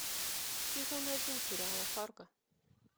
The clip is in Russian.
сезон один сериала фарго